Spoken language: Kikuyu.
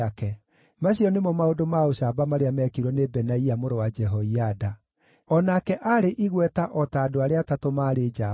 Macio nĩmo maũndũ ma ũcamba marĩa mekirwo nĩ Benaia mũrũ wa Jehoiada. O nake aarĩ igweta o ta andũ arĩa atatũ maarĩ njamba.